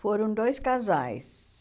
Foram dois casais.